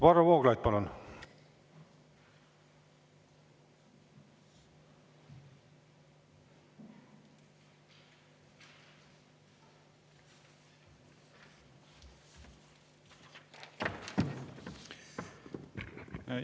Varro Vooglaid, palun!